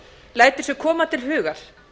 lætur sér koma til hugar